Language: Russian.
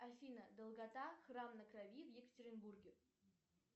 афина долгота храм на крови в екатеринбурге